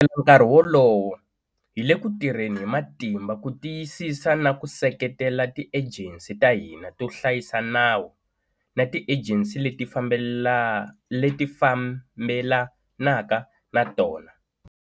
Nkarhi wolowo, hi le ku tirheni hi matimba ku tiyisisa na ku seketela tiejensi ta hina to hlayisa nawu na tiejensi leti fambelanaka na tona.